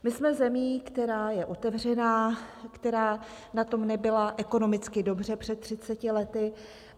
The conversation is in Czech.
My jsme zemí, která je otevřená, která na tom nebyla ekonomicky dobře před 30 lety.